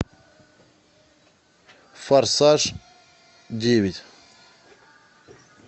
форсаж девять